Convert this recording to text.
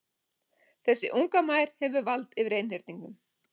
Þessi unga mær hefur vald yfir einhyrningnum.